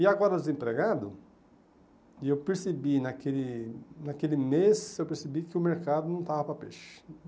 E agora desempregado, e eu percebi naquele naquele mês, eu percebi que o mercado não estava para peixe.